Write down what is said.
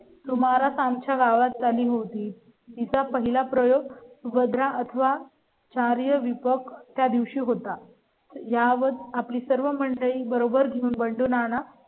तुम्हाला आमच्या गावात झाली होती. तिचा पहिला प्रयोग भद्रा अथवा. चार्य विपक्ष त्या दिवशी होता. यावर आपली सर्व मंडळी बरोबर घेऊन बंडू, नाना